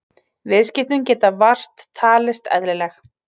Viðskiptin geta vart talist eðlileg